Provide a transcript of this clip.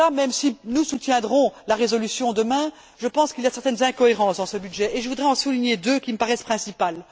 Si nous soutiendrons la résolution demain, je pense qu'il y a certaines incohérences dans ce budget et je voudrais en souligner deux qui me paraissent principales.